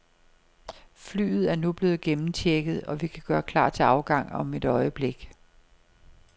Flyet er nu blevet gennemchecket, og vi kan gøre klar til afgang om et øjeblik.